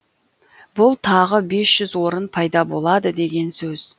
бұл тағы бес жүз орын пайда болады деген сөз